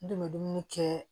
N dun bɛ dumuni kɛ